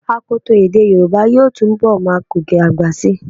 Àkọtọ́ èdè yorùbá yóò túnbọ̀ máa gòkè àgbà síi.